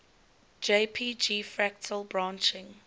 jpg fractal branching